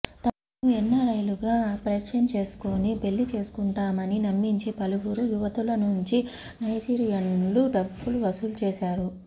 తమను ఎన్నారైలుగా పరిచయం చేసుకుని పెళ్లి చేసుకుంటామని నమ్మించి పలువురు యువతుల నుంచి నైజీరియన్లు డబ్బులు వసూలు చేశారు